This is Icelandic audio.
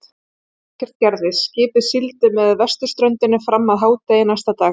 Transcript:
Ekkert gerðist, skipið sigldi með vesturströndinni fram að hádegi næsta dag.